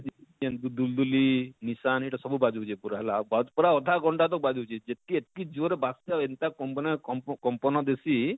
ଯେନ ଦୁଲଦୁଲି ଲିସାନ ଇଟା ସବୁ ବାଜୁଛେ ପୁରା ହେଲା ଆଉ ପୁରା ଅଧା ଘଣ୍ଟା ତକ ବାଜୁଛେ ଯେତକି ଏତକି ଜୋର ରେ ବାଜସି ଏନତା କମ୍ପନା କମ୍ପ କମ୍ପନ ଦେଶୀ